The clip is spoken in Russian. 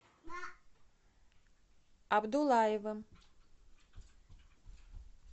абдуллаевым